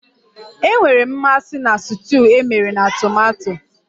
Enwere m mmasị na stuuyu emere na tomato